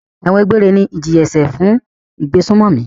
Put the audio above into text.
Ẹ̀wọ̀n egbére ni ìjìyà-ẹ̀ṣẹ̀ fún ìgbésùnmòmí.